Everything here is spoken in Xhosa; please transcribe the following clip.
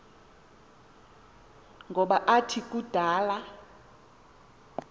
ngoba athi kudala